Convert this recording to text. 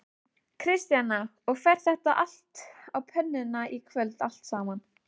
Kristjana: Og fer þetta á pönnuna í kvöld allt saman?